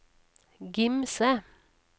Gimse